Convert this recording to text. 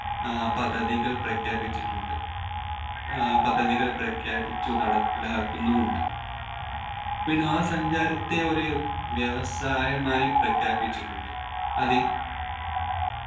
ആഹ് പധവികൾ പ്രഖ്യാപിച്ചിട്ടുണ്ട് ആഹ് പധവികൾ പ്രഖ്യാപിച്ചു നടപ്പിലാക്കുന്നുമുണ്ട് വിനോദ സഞ്ചാരത്തെ ഒരു വ്യവസായമായി പ്രഖ്യാപിച്ചിട്ടുണ്ട് അതിൽ